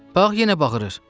Bax yenə bağırrır.